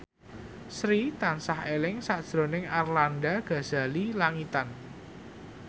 Sri tansah eling sakjroning Arlanda Ghazali Langitan